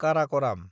Karakoram